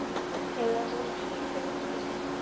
Eigum við von á sýningu á næstunni?